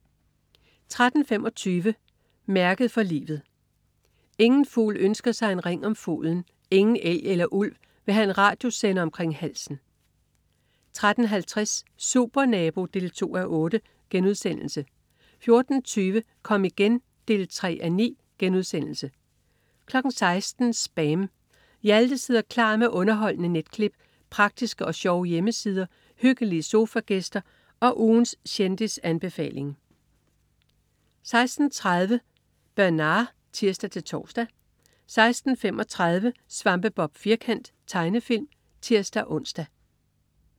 13.25 Mærket for livet. Ingen fugl ønsker sig en ring om foden, ingen elg eller ulv vil have en radiosender omkring halsen 13.50 Supernabo 2:8* 14.20 Kom igen 3:9* 16.00 SPAM. Hjalte sidder klar med underholdende netklip, praktiske og sjove hjemmesider, hyggelige sofagæster og ugens kendisanbefaling 16.30 Bernard (tirs-tors) 16.35 Svampebob Firkant. Tegnefilm (tirs-ons)